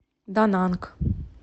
дананг